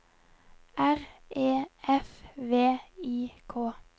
R E F V I K